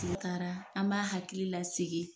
taara an b'a hakili lasegin